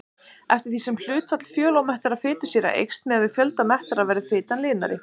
Eftir því sem hlutfall fjölómettaðra fitusýra eykst miðað við fjölda mettaðra verður fitan linari.